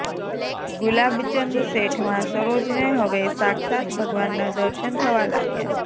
ગુલાબચંદ શેઠમાં સરોજને હવે સાક્ષાત ભગવાનના દર્શન થવા લાગ્યા